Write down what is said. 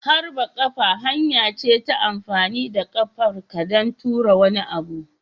Harbin kafa hanya ce ta amfani da ƙafar ka don tura wani.